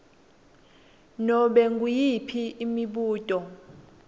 nobe nguyiphi imibuto